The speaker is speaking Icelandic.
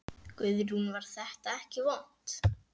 Guðrún: Var þetta ekki vont?